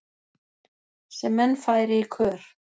sem menn færi í kör